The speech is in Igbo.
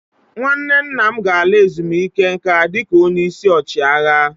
Nwanne nna m ga-ala ezumike nka dịka onye isi ọchịagha.